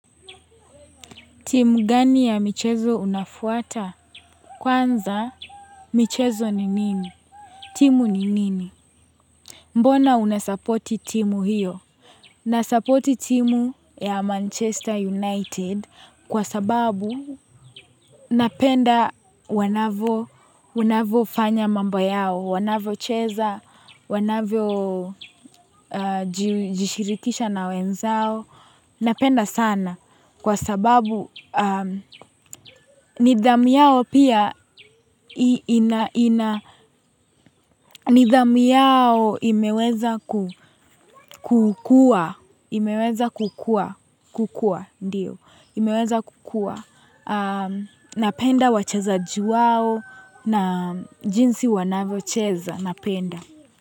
Timu gani ya michezo unafuata? Kwanza michezo ni nini? Timu ni nini? Mbona unasapoti timu hiyo? Nasapoti timu ya Manchester United kwa sababu napenda wanavyo wanavyo fanya mambo yao, wanavyo cheza, wanavyo jishirikisha na wenzao. Napenda sana kwa sababu nidhamu yao pia nidhamu yao imeweza kukua, imeweza kukua, kukua, ndiyo, imeweza kukua. Napenda wachezaji wao na jinsi wanavyocheza, napenda.